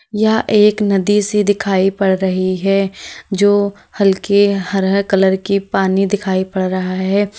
यह एक नदी सी दिखाई पड़ रही है जो हल्के हरे कलर की पानी दिखाई पड़ रहा है।